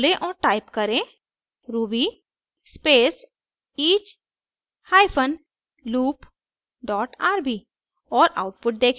अब टर्मिनल खोलें और टाइप करें ruby space each hyphen loop dot rb